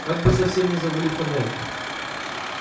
как бы совсем не завалить тоннель